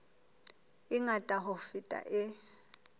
e ngata ho feta e